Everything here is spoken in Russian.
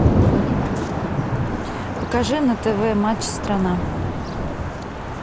покажи на тв матч страна